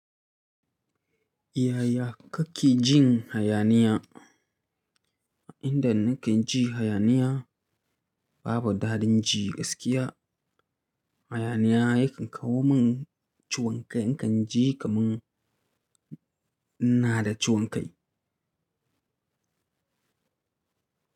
Yaya kake jin hayaniya? Inda nake ji hayaniya babu daɗin ji gaskiya. Hayaniya yakan kawo min ciwon kai. Nakan ji kamar ina da ciwon kai.